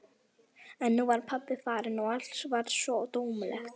En nú var pabbi farinn og allt varð svo tómlegt.